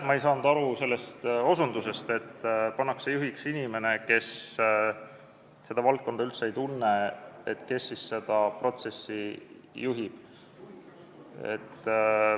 Ma ei saanud aru sellest küsimusest, et kui juhiks pannakse inimene, kes valdkonda üldse ei tunne, et kes siis seda protsessi juhib.